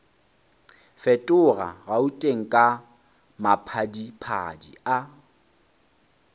fetoga gauteng ka maphadiphadi a